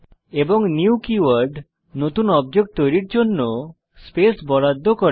এবং new keyword নতুন object তৈরির জন্য স্পেস বরাদ্দ করে